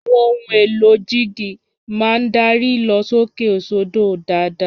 Àwọn ohun èlò jíìgì máa ń darí ìlọ̀sókè sódò dáadáa